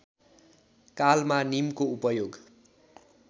कालमा नीमको उपयोग